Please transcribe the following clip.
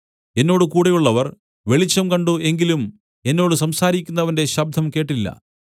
എന്നോട് കൂടെയുള്ളവർ വെളിച്ചം കണ്ട് എങ്കിലും എന്നോട് സംസാരിക്കുന്നവന്റെ ശബ്ദം കേട്ടില്ല